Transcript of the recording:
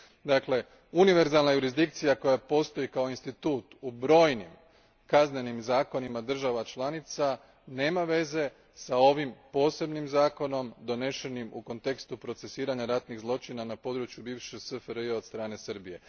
Dakle, univerzalna jurisdikcija koja postoji kao institut u brojnim kaznenim zakonima država članica nema veze s ovim posebnim zakonom donešenim u kontekstu procesiranja ratnih zločina na području bivše SFRJ od strane Srbije.